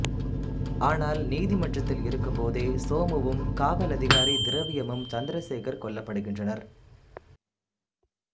ஆனால் நீதிமன்றத்தில் இருக்கும்போதே சோமுவும் காவல் அதிகாரி திரவியமும் சந்திரசேகர் கொல்லப்படுகின்றனர்